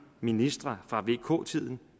ministre fra vk tiden